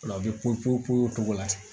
Ola u bɛ popo o cogo la